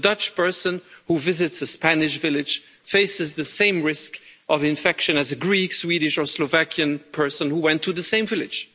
A Dutch person who visits a Spanish village faces the same risk of infection as a Greek, Swedish or Slovakian person who went to the same village.